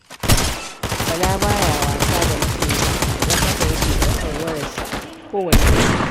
Bala ba ya wasa da masoyansa, don haka yake ɗaukar wayarsu a kowane lokaci.